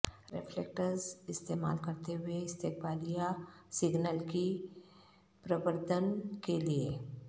reflectors استعمال کرتے ہوئے استقبالیہ سگنل کی پروردن کے لیے